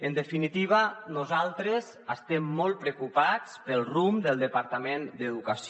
en definitiva nosaltres estem molt preocupats pel rumb del departament d’educació